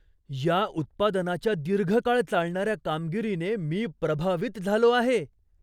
या उत्पादनाच्या दीर्घकाळ चालणाऱ्या कामगिरीने मी प्रभावित झालो आहे.